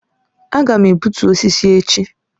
Aga m egbutu osisi echi